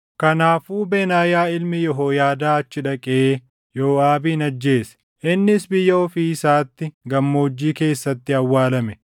Kanaafuu Benaayaa ilmi Yehooyaadaa achi dhaqee Yooʼaabin ajjeese; innis biyya ofii isaatti gammoojjii keessatti awwaalame.